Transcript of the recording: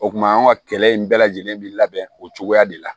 O kuma an ka kɛlɛ in bɛɛ lajɛlen bi labɛn o cogoya de la